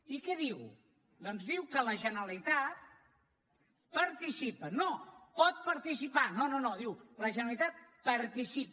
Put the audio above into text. i què diu doncs diu que la generalitat hi participa no hi pot participar no no no diu la generalitat hi participa